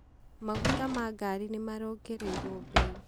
Maguta ma ngari nĩ marongereirwo bei.